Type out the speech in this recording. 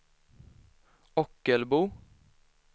Ockelbo